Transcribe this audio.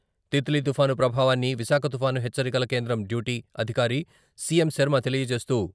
తిత్లీ తుఫాను ప్రభావాన్ని విశాఖ తుఫాను హెచ్చరికల కేంద్రం డ్యూటీ అధికారి సిఎం. శర్మ తెలియజేస్తూ.